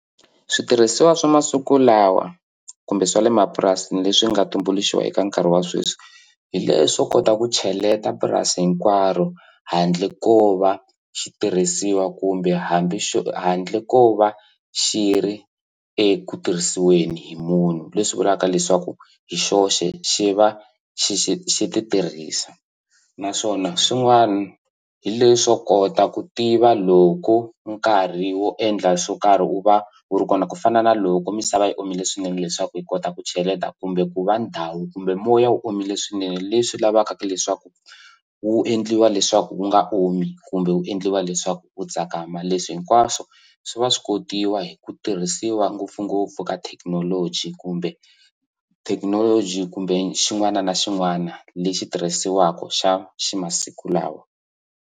Switirhisiwa swa masiku lawa kumbe swa le mapurasini leswi nga tumbuluxiwa eka nkarhi wa sweswi hi leswo kota ku cheleta purasi hinkwaro handle ko va xi tirhisiwa kumbe hambi handle ko va xi ri eku tirhisiweni hi munhu leswi vulaka leswaku hi xoxe xi va xi xi xi ti tirhisa naswona swin'wani hi leswo kota ku tiva loko nkarhi wo endla swo karhi u va wu ri kona ku fana na loko misava yi omile swinene leswaku hi kota ku cheleta kumbe ku va ndhawu kumbe moya wu omile swinene leswi lavaka leswaku wu endliwa leswaku wu nga omi kumbe wu endliwa leswaku wu tsakama leswi hinkwaswo swi va swi kotiwa hi ku tirhisiwa ngopfungopfu ka thekinoloji kumbe thekinoloji kumbe xin'wana na xin'wana lexi tirhisiwaka xa xa masiku lawa.